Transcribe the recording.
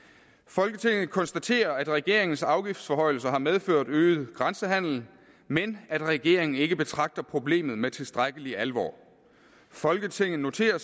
folketinget konstaterer at regeringens afgiftsforhøjelser har medført øget grænsehandel men at regeringen ikke betragter problemet med tilstrækkelig alvor folketinget noterer